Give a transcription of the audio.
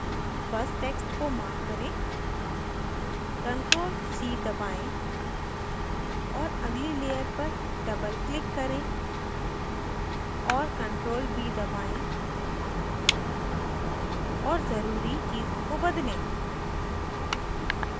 बस text को mark करें ctrl + c दबाएं और अगली layer पर double click करें और ctrl + v दबाएं और ज़रूरी चीज़ों को बदलें